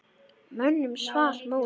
Mönnum svall móður.